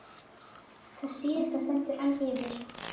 Það síðasta stendur enn yfir.